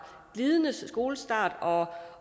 glidende skolestart og